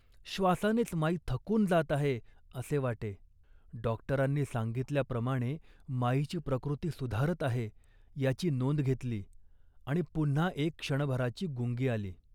श्वासानेच माई थकून जात आहे, असे वाटे. डॉक्टरांनी सांगितल्याप्रमाणे माईची प्रकृती सुधारत आहे याची नोंद घेतली आणि पुन्हा एक क्षणभराची गुंगी आली